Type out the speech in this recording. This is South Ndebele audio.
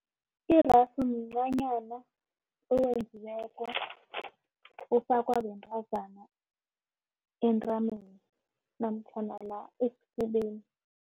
Irasu mncanyana owenziweko ofakwa bentazana entameni namtjhana la esifubeni.